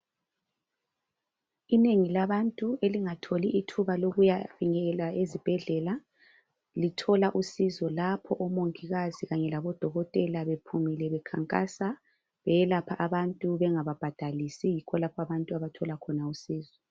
Inengi labantu elingatholi ithuba lokuyafinyelela ezibhedlela lithola usizo lapho omongikazi kanye labodokotela bephumile bekhankasa beyelapha abantu bengababhadalisi, yikho lapho abantu abathola khona usizo.